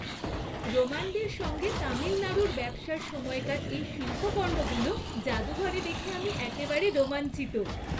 রোমানদের সঙ্গে তামিলনাড়ুর ব্যবসার সময়কার এই শিল্পকর্মগুলো জাদুঘরে দেখে আমি একেবারে রোমাঞ্চিত।